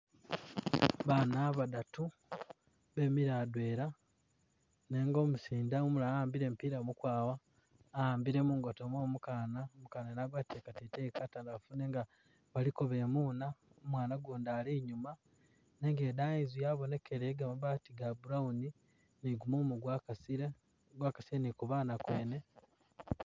Bana badatu bemile adwela nenga umusinde umulala waambile mupila mukwawa awaambile mungoto mwomukana umukana wene agwatile kateteyi katandafu nenga baliko bemuna umwana gundi Ali’inyuma nenga idayi inzu yabonekele yegamabati ga brown nigu mumu gwakasile, gwakasile ni kubana kwene.